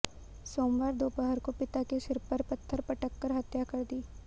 सोमवार दोपहर को पिता के सिर पर पत्थर पटककर हत्या कर दी